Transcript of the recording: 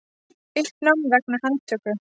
Uppnám vegna handtöku